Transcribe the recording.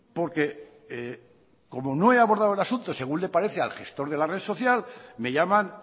porque como no he abordado el asunto según le parece al gestor de la red social me llaman